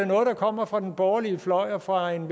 noget der kommer fra den borgerlige fløj og fra en